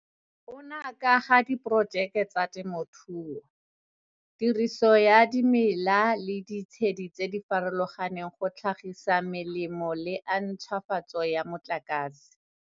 Ona a ka ga diporojeke tsa temothuo, tiriso ya dimela le ditshedi tse di farologaneng go tlhagisa melemo le a ntšhwafatso ya motlakase.